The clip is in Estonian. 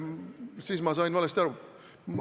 Siis ma sain valesti aru.